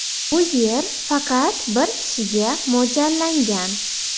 Bu yer faqat bir kishiga mo‘ljallangan.